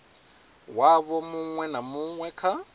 wavho muṅwe na muṅwe kha